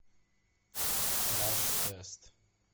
краш тест